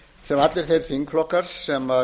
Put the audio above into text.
sem allir þeir þingflokkar sem